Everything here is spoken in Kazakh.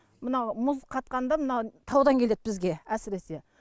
мынау мұз қатқанда мына таудан келеді бізге әсіресе